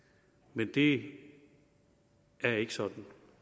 men det er ikke sådan